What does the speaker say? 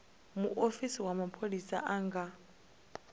muofisi wa mapholisa a nga